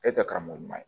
E tɛ karamɔgɔ ɲuman ye